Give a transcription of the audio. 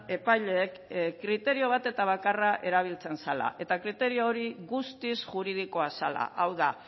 epaileek kriterio bat eta bakarra erabiltzen zela eta kriterio hori guztiz juridikoa zela hau da